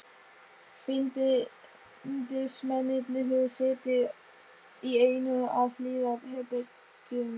Bindindismennirnir höfðu setið í einu af hliðarherbergjum